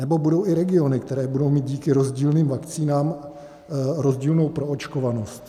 Nebo budou i regiony, které budou mít díky rozdílným vakcínám rozdílnou proočkovanost.